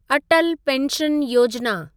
Atal pension Yojana